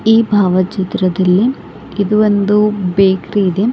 ಈ ಭಾವಚಿತ್ರದಲ್ಲಿ ಇದು ಒಂದು ಬೇಕ್ರಿ ಇದೆ.